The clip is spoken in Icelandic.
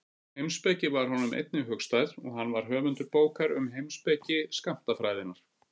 Heimspeki var honum einnig hugstæð og hann var höfundur bókar um heimspeki skammtafræðinnar.